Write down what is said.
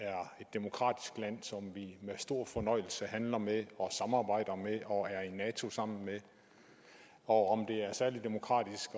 demokratisk land som vi med stor fornøjelse handler med og samarbejder med og er i nato sammen med og om det er særlig demokratisk